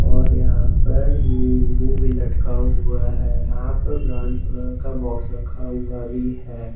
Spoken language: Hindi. और यहां पर भी लटका हुआ है यहां पर कलर का बॉक्स रखा हुआ भी है।